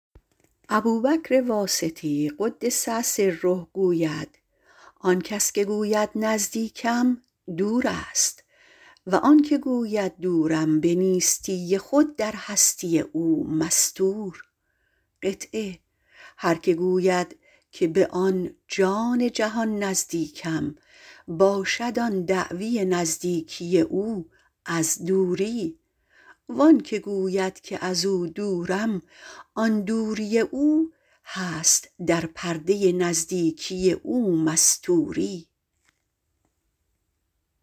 ابوبکر واسطی - قدس سره - گوید آن که گوید نزدیکم دور است و آن که گوید دورم به نیستی خود در هستی او مستور است هر که گوید که به آن جان جهان نزدیکم باشد آن دعوی نزدیکی او از دوری وان که گوید که ازو دورم آن دوری او هست در پرتو نزدیکی او مستوری